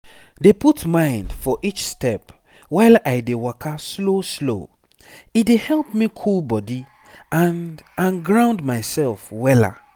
dey put mind for each step while i dey waka slow slow e dey help me cool body and and ground myself wella